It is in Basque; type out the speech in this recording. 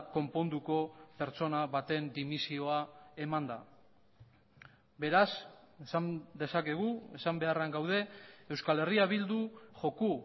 konponduko pertsona baten dimisioa emanda beraz esan dezakegu esan beharrean gaude euskal herria bildu joko